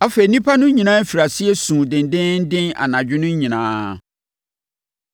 Afei, nnipa no nyinaa firii aseɛ suu dendeenden anadwo no nyinaa.